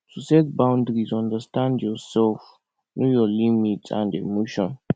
to set boundries understand your self your um limits and emotions